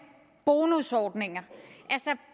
bonusordninger